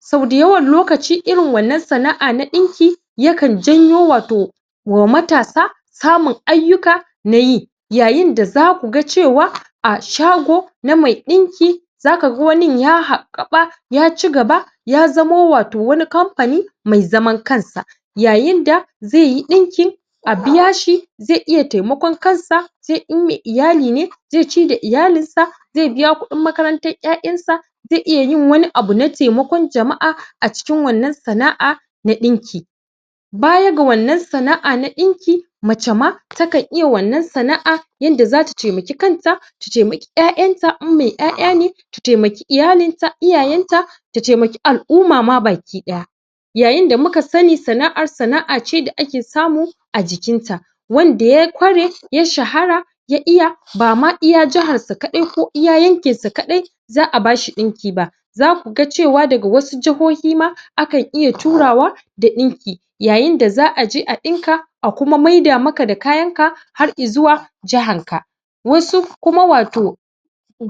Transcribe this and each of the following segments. sau dayawan lokacin irin wannan sana'a na ɗinki yakan janyo wato a matasa samun ayyuka na yi yayinda zaku ga cewa a shago na mai ɗinki zaka ga wannin ya haɓaɓaka ya cigaba ya zamo wato wani kamfani mai zaman kansa yayinda zai yi ɗinki a biyashi zai iya taimakon kansa sai in mai iyali ne zai ci da iyalinsa zai biya kuɗin makarantan ƴaƴansa zai iya yin wani abu na taimakon jama'a cikin wannan sana'a na ɗinki baya ga wannan sana'a na ɗinki mace ma takan iya wanna sana'a yanda zata taimaki kanta ta taimaki ƴaƴanta in mai ƴaƴane ta taimaki iyalinta iyayenta ta taimaki al'uma ma baki-ɗaya yayinda muka sani sana'ar sana'a ce da ake samu a jikinta wanda ya ƙware ya shahara ya iya ba ma iya jaharsa kaɗai ko iya yankinsa kaɗai za a bashi ɗinki ba zaku ga cewa daga wasu jahohi ma akan iya turawa da ɗinki yayinda za a je a ɗinka a kuma maida maka da kayanka har izuwa jahanka wasu kuma wato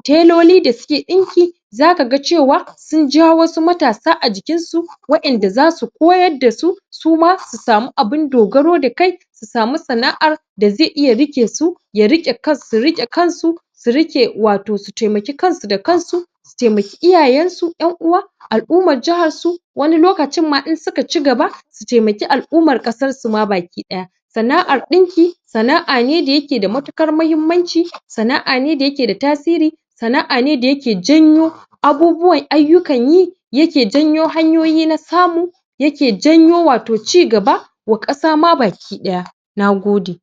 teloli da suke ɗinki zaka ga cewa sun ja wasu matsa a jiinsu wa'inda za su koyar da su suma su samu abun dogaro da kai su samu sana'ar da zai iya riƙe su ya riƙe? su riƙe kansu su riƙe wato su taimaki kansu da kansu su taimaki iyayesu ƴan'uwa al'uman jaharsu wani lokacin ma in suka cigaba su taimaki al'umar ƙasarsu ma baki-ɗaya sana'ar ɗinki sana'a ne da yake da matuƙar mahimmanci sana'a ne da yake da tasiri sana'a ne da yake janyo abubuwan ayyukan yi yake janyo hanyoyi na samu yake janyo wato cigaba wa ƙasa ma baki-ɗaya na gode